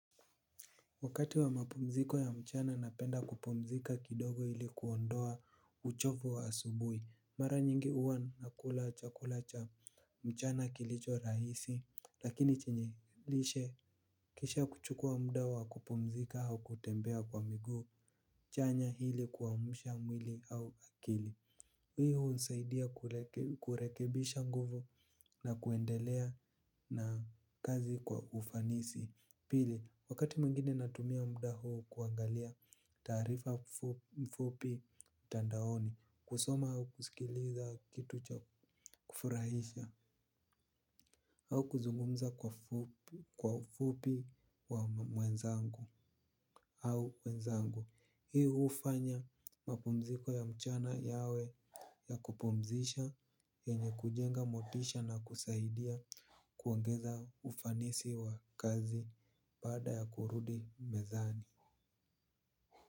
Wakati wa mapumziko ya mchana napenda kupumzika kidogo hili kuondoa uchofu wa asubui mara nyingi uwa nakula chakula cha mchana kilicho rahisi. Lakini chenye lishe kisha kuchukua muda wa kupumzika hau kutembea kwa miguu chanya hili kuamsha mwili au akili. Hii unisaidia kurekebisha nguvo na kuendelea na kazi kwa ufanisi. Pili, wakati mwingine natumia mdaho kuangalia tarifa mfupi tandaoni. Kusoma haukusikiliza kitu cha kufurahisha. Haukuzungumza kwa fupi wa mwenzangu au mwenzangu. Hii hufanya mapumziko ya mchana yawe ya kupumzisha enye kujenga motisha na kusaidia kuongeza ufanisi wa kazi baada ya kurudi mezani.